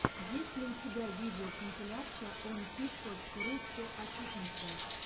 есть ли у тебя видеокомпиляция онфит точка ру все о фитнесе